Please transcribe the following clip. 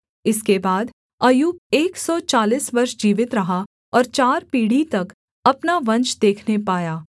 इसके बाद अय्यूब एक सौ चालीस वर्ष जीवित रहा और चार पीढ़ी तक अपना वंश देखने पाया